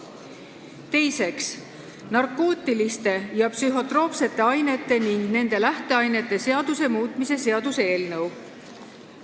Teiseks, narkootiliste ja psühhotroopsete ainete ning nende lähteainete seaduse muutmise seaduse eelnõu.